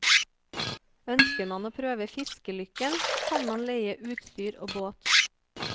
Ønsker man å prøve fiskelykken kan man leie utstyr og båt.